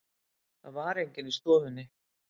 Það var enginn í stofunni.